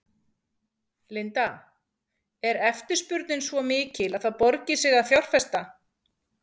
Linda: Er eftirspurnin svo mikil að það borgi sig að fjárfesta?